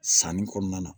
Sanni kɔnɔna na